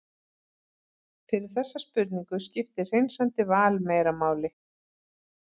fyrir þessa spurningu skiptir hreinsandi val meira máli